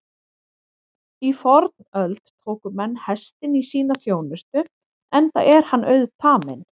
Í fornöld tóku menn hestinn í sína þjónustu enda er hann auðtaminn.